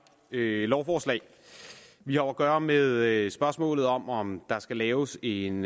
lovforslag vi har at gøre med spørgsmålet om om der skal laves en